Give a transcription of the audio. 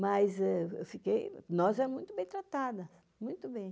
Mas eu fiquei... Nós é muito bem tratada, muito bem.